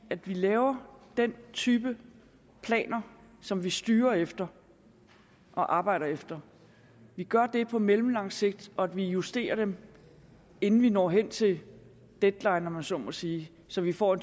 at vi laver den type planer som vi styrer efter og arbejder efter vi gør det på mellemlang sigt og vi justerer dem inden vi når hen til deadline om man så må sige så vi får